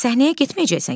Səhnəyə getməyəcəksən ki.